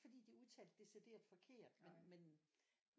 Fordi de udtalet decideret forkert men men